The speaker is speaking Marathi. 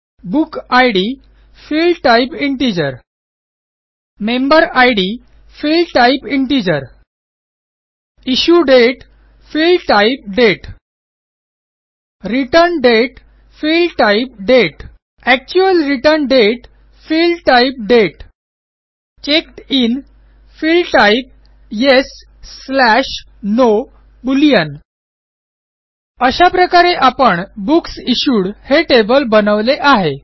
book id field type integer member id Field type integer issue date field type date return date field type date actual return date field type date checked in field type yes no boolean अशा प्रकारे आपण बुक्स इश्यूड हे टेबल बनवले आहे